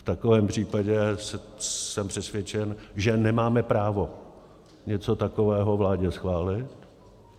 V takovém případě jsem přesvědčen, že nemáme právo něco takového vládě schválit.